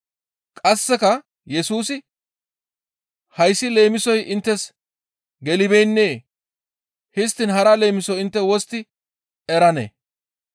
Qasseka Yesusi, «Hayssi leemisoy inttes gelibeennee? Histtiin hara leemiso intte wostti eranee?